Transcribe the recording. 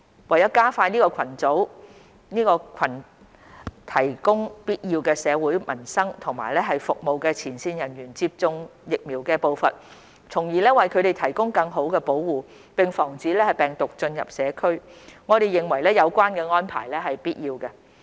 為加快這群提供必要社會民生服務的前線人員接種疫苗的步伐，從而為他們提供更好保護，並防止病毒進入社區，我們認為有關的安排是必要的。